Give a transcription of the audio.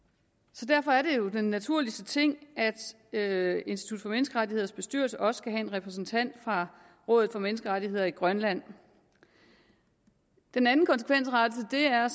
så derfor er det jo den naturligste ting at institut for menneskerettigheders bestyrelse også en repræsentant fra rådet for menneskerettigheder i grønland den anden konsekvensrettelse er